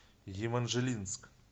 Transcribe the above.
еманжелинск